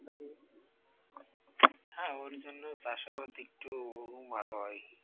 হ্যাঁ ওর জন্য চাষাবাদ একটু ভালো হয়ই।